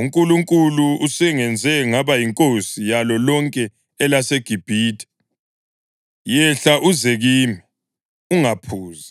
UNkulunkulu usengenze ngaba yinkosi yalo lonke elaseGibhithe. Yehla uze kimi; ungaphuzi.